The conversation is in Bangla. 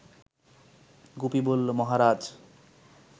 গুপি বলল, মহারাজ